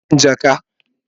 Rabin jaka.